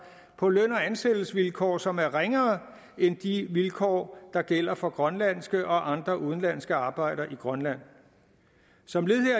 på løn og ansættelsesvilkår som er ringere end de vilkår der gælder for grønlandske og andre udenlandske arbejdere i grønland som